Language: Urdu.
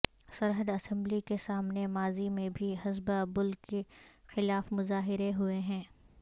سرحد اسمبلی کے سامنے ماضی میں بھی حسبہ بل کے خلاف مظاہرے ہوئے ہیں